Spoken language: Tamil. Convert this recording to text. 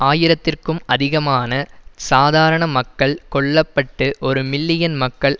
ஆயிரத்திற்கும் அதிகமான சாதாரண மக்கள் கொல்ல பட்டு ஒரு மில்லியன் மக்கள்